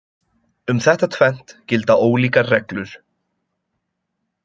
Um þetta tvennt gilda ólíkar reglur.